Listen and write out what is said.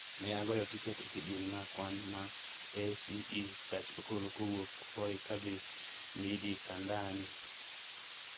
Ne agoyo tiket e kidieny ma kwan ma a.c e gach okolo kowuok Voi ka dhi Midikandani